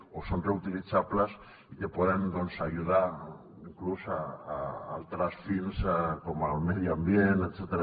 o són reutilitzables i que poden doncs ajudar inclús a altres fins com el medi ambient etcètera